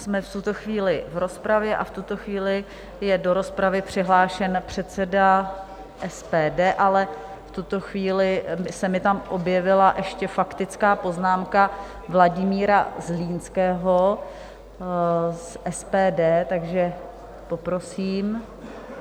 Jsme v tuto chvíli v rozpravě a v tuto chvíli je do rozpravy přihlášen předseda SPD, ale v tuto chvíli se mi tam objevila ještě faktická poznámka Vladimíra Zlínského z SPD, takže poprosím.